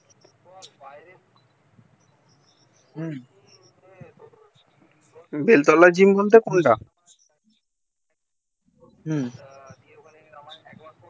হুম বেলতলা জিয়ারমোন টা কোন টা হুম